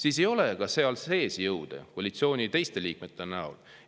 Seal sees ei ole teisi jõude koalitsiooni teiste liikmete näol.